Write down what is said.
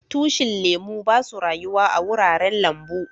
Tushin lemu ba su rayuwa a'wuraren lambu.